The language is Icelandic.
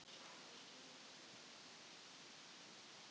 Þetta steikarfat hentar vel fyrir kalkúnann og aðrar stórsteikur.